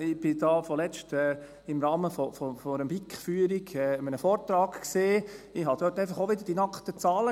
Ich war kürzlich im Rahmen einer BiKFührung an einem Vortrag und sah dort auch einfach wieder die nackten Zahlen: